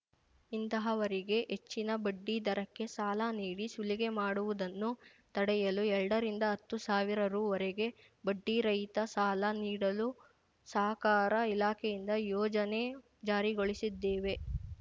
ಇಂತಹವರಿಗೆ ಹೆಚ್ಚಿನ ಬಡ್ಡಿ ದರಕ್ಕೆ ಸಾಲ ನೀಡಿ ಸುಲಿಗೆ ಮಾಡುವುದನ್ನು ತಡೆಯಲು ಎರಡರಿಂದ ಹತ್ತು ಸಾವಿರ ರುವರೆಗೆ ಬಡ್ಡಿ ರಹಿತ ಸಾಲ ನೀಡಲು ಸಹಕಾರ ಇಲಾಖೆಯಿಂದ ಯೋಜನೆ ಜಾರಿಗೊಳಿಸಿದ್ದೇವೆ